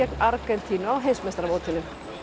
Argentínu á heimsmeistaramótinu